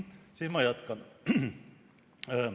Siis ma jätkan.